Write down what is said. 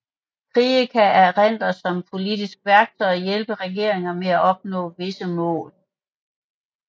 Krige kan erindres som et politisk værktøj og hjælpe regeringer med at opnå visse mål